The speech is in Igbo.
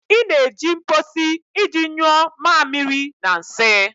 Ị na-eji mposi iji nyuo mamiri na nsị